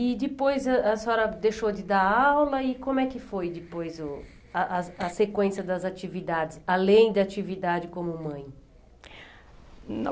E depois a a senhora deixou de dar aula e como é que foi depois o a a as sequências das atividades, além da atividade como mãe? Não